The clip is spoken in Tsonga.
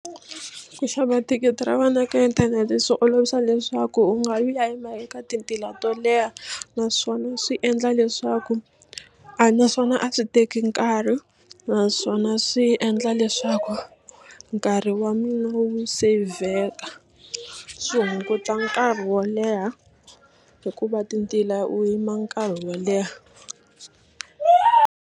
Ku xava thikithi ra wena ka inthanete swi olovisa leswaku u nga yi u ya yima eka ti ntila to leha naswona swi endla leswaku a naswona a swi teki nkarhi naswona swi endla leswaku nkarhi wa mina wu seyivheka swi hunguta nkarhi wo leha hikuva ti ntila u yima nkarhi wo leha.